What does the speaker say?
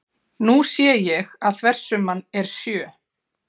Nú sé ég að þversumman er sjö.